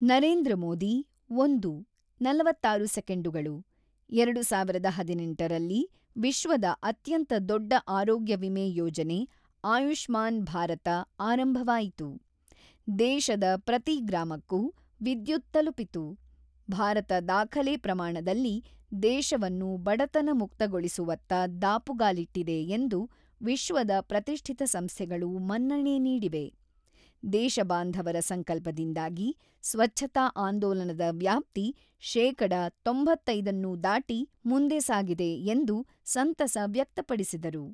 ನರೇಂದ್ರ ಮೋದಿ-ಒಂದು (ನಲವತ್ತಾರು ಸೆಕೆಂಡುಗಳು) "ಎರಡು ಸಾವಿರದ ಹದಿನೆಂಟು ರಲ್ಲಿ ವಿಶ್ವದ ಅತ್ಯಂತ ದೊಡ್ಡ ಆರೋಗ್ಯ ವಿಮೆ ಯೋಜನೆ "ಆಯುಷ್ಮಾನ್ ಭಾರತ" ದ ಆರಂಭವಾಯಿತು ; ದೇಶದ ಪ್ರತಿ ಗ್ರಾಮಕ್ಕೂ ವಿದ್ಯುತ್ ತಲುಪಿತು ; ಭಾರತ ದಾಖಲೆ ಪ್ರಮಾಣದಲ್ಲಿ ದೇಶವನ್ನು ಬಡತನ ಮುಕ್ತಗೊಳಿಸುವತ್ತ ದಾಪುಗಾಲಿಟ್ಟಿದೆ ಎಂದು ವಿಶ್ವದ ಪ್ರತಿಷ್ಠಿತ ಸಂಸ್ಥೆಗಳು ಮನ್ನಣೆ ನೀಡಿವೆ ; ದೇಶಬಾಂಧವರ ಸಂಕಲ್ಪದಿಂದಾಗಿ ಸ್ವಚ್ಛತಾ ಆಂದೋಲನದ ವ್ಯಾಪ್ತಿ ಶೇಕಡಾ ತೊಂಬತ್ತೈದು ನ್ಯೂ ದಾಟಿ ಮುಂದೆ ಸಾಗಿದೆ 'ಎಂದು ಸಂತಸ ವ್ಯಕ್ತಪಡಿಸಿದರು.